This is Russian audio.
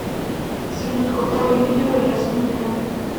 салют какое видео я смотрю